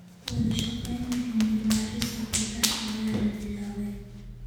Wada-shaqeynta cilmi-baarista gudaha ayaa la bilaabay.